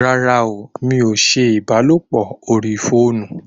Rárá! mí o ṣe ìbálòpọ̀ orí fóònù